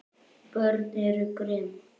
Börn eru grimm.